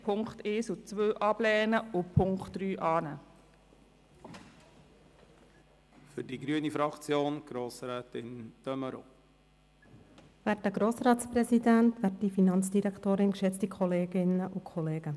Bei der Motion der SP-JUSO-PSAFraktion/Marti werden wir wie die Regierung in Punkt 1 und 2 ablehnen und Punkt 3 annehmen.